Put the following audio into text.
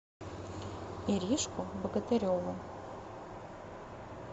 иришку богатыреву